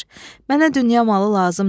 Ey vəzir, mənə dünya malı lazım deyil.